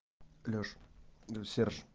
лёш до серж